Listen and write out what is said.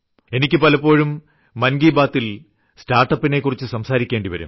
എനിക്ക് പലപ്പോഴും മൻ കി ബാതിൽ സ്റ്റാർട്ട്അപ്പിനെ കുറിച്ച് സംസാരിക്കേണ്ടിവരും